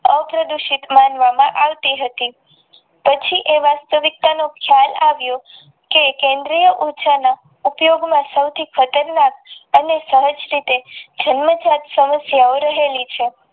આ પ્રદુષિતમાં માનવામાં આવતી હતી પછી એ વાસ્તવિકતા નો ખ્યાલ આવ્યો કે કેન્દ્રીય ઉચ્ચના ઉપ્યોગમાં સૌ થી પહેલા અને સહજ રીતે જમાનત સાથ સમસ્યા અવરેલી છે.